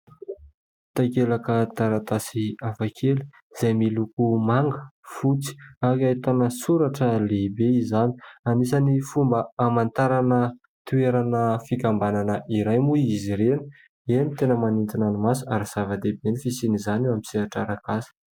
Takelaka taratasy hafakely izay miloko manga, fotsy ary ahitana soratra lehibe izany. Anisan'ny fomba hamantarana toerana fikambanana iray moa izy ireny. Eny tena manintona ny maso ary zava-dehibe ny fisian'izany eo amin'ny sehatra ara-kasa.